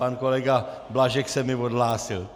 Pan kolega Blažek se mi odhlásil.